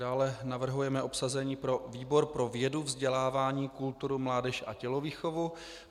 Dále navrhujeme obsazení pro výbor pro vědu, vzdělání, kulturu, mládež a tělovýchovu.